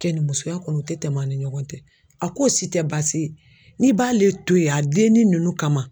Kɛnimusoya kɔni o tɛ tɛmɛn an ni ɲɔgɔn cɛ a k'o si tɛ baasi ye n'i b'ale to ye a dennin ninnu kama.